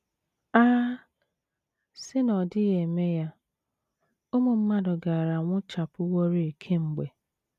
A sị na ọ dịghị eme ya, ụmụ mmadụ gaara anwụchapụworị kemgbe!